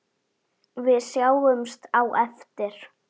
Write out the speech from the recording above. Við sjáumst á eftir.